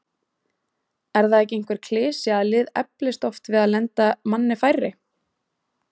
Er það ekki einhver klisja að lið eflast oft við að lenda manni færri?